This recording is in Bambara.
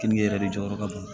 Keninge yɛrɛ de jɔyɔrɔ ka bon